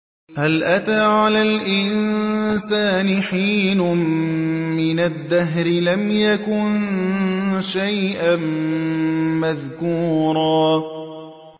هَلْ أَتَىٰ عَلَى الْإِنسَانِ حِينٌ مِّنَ الدَّهْرِ لَمْ يَكُن شَيْئًا مَّذْكُورًا